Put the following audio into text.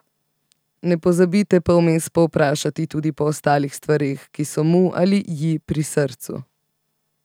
Ne pozabite pa vmes povprašati tudi po ostalih stvareh, ki so mu ali ji pri srcu.